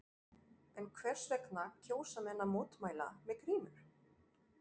En hvers vegna kjósa menn að mótmæla með grímur?